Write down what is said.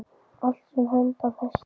Allt sem hönd á festi.